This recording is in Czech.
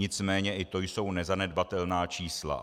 Nicméně i to jsou nezanedbatelná čísla.